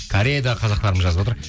кореядағы қазақтарым жазып отыр